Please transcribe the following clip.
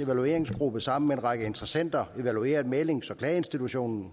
evalueringsgruppe sammen med en række interessenter evalueret mæglings og klageinstitutionen